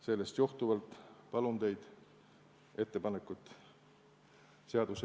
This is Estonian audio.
Sellest johtuvalt palun teid ettepanekuid toetada.